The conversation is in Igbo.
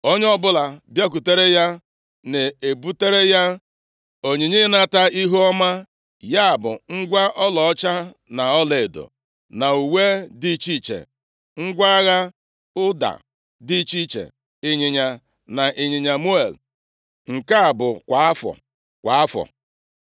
Onye ọbụla bịakwutere ya na-ebutere ya onyinye ịnata ihuọma, ya bụ ngwa ọlaọcha na ọlaedo, na uwe dị iche iche, ngwa agha, ụda dị iche iche, ịnyịnya na ịnyịnya muul, nke a bụ kwa afọ, kwa afọ.